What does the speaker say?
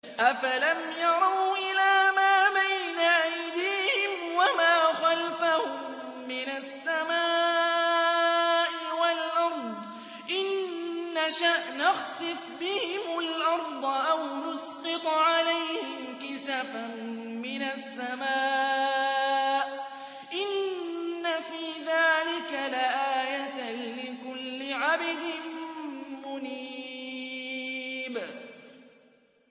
أَفَلَمْ يَرَوْا إِلَىٰ مَا بَيْنَ أَيْدِيهِمْ وَمَا خَلْفَهُم مِّنَ السَّمَاءِ وَالْأَرْضِ ۚ إِن نَّشَأْ نَخْسِفْ بِهِمُ الْأَرْضَ أَوْ نُسْقِطْ عَلَيْهِمْ كِسَفًا مِّنَ السَّمَاءِ ۚ إِنَّ فِي ذَٰلِكَ لَآيَةً لِّكُلِّ عَبْدٍ مُّنِيبٍ